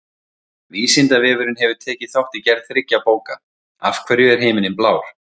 Vísindavefurinn hefur tekið þátt í gerð þriggja bóka: Af hverju er himinninn blár?